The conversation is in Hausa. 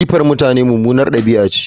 Jifa mutane mummunar ɗabi'a ce